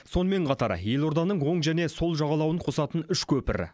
сонымен қатар елорданың оң және сол жағалауын қосатын үш көпір